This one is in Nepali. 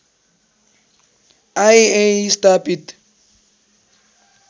आइ्एइए स्थापित